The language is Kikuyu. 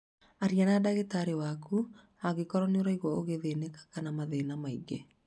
Arĩa na ndagĩtarĩ waku angĩkorũo nĩ ũraigua ũgĩthĩnĩka kana mathĩna mangĩ.